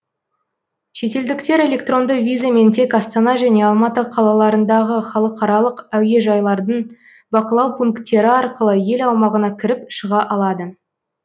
шетелдіктер электронды визамен тек астана және алматы қалаларындағы халықаралық әуежайлардың бақылау пункттері арқылы ел аумағына кіріп шыға алады